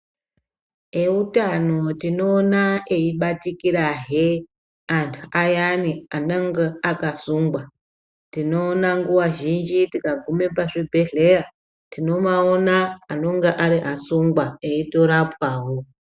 Eutano tinoona eibatikirahe antu ayani anonga akasungwa tinoona nguwa zhinji tikagume pazvibhehlera tinomaona anonga ari asungwa eitorapwawo.